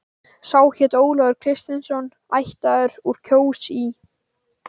Sá hét Ólafur Kristinsson, ættaður úr Kjós í